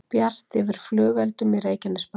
Bjart yfir flugeldum í Reykjanesbæ